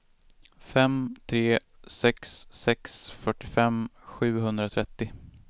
fem tre sex sex fyrtiofem sjuhundratrettio